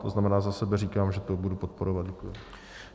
To znamená, za sebe říkám, že to budu podporovat.